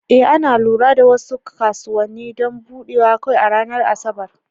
Ee, ana lura da wasu kasuwanni don buɗewa kawai a ranar Asabar.